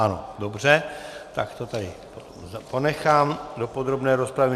Ano, dobře, takže to tady ponechám do podrobné rozpravy.